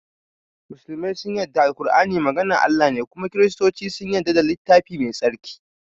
musulmai sun yadda da Al-kur'ani maganar Allah ne kuma kiristuce sun yadda da littafi mai tsarki